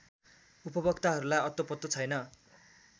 उपभोक्ताहरूलाई अत्तोपत्तो छैन